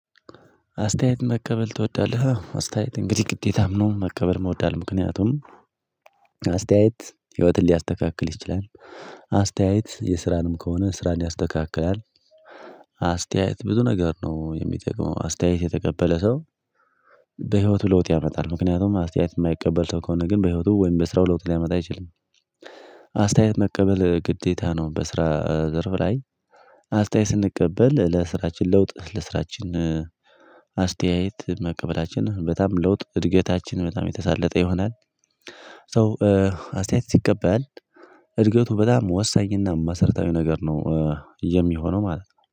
አስተያየት መቀበል ትወዳለህ? አስተያየት እንግዲህ ግዴታም ነው መቀበልም እወዳለሁ። ምክንያቱም አስተያየት ህይወትን ሊያስተካክል ይችላል። አስተያየት የስራንም ከሆነ ስራን ያስተካክላል። አስተያየት ብዙ ነገር ነው የሚጠቅመው። አስተያየት የተቀበለ ሰው በህይወቱ ለውጥ ያመጣል። ምክንያቱም አስተያየት የማይቀበል ሰው ከሆነ ግን በህይወቱ ወይም በስራው ለውጥ ሊያመጣ አይችልም። አስተያየት መቀበል ግዴታ ነው በስራ ዘርፍ ላይ አስተያየት ስንቀበል ለስራችን ለውጥ፣ ለስራችን አስተያየት መቀበላችን በጣም ለውጥ እድገታችን በጣም የተሳለጠ ይሆናል። ሶ አስተያየት ሲቀበል እድገቱ በጣም ወሳኝና መሰርታዊ ነገር ነው የሚሆነው ማለት ነው።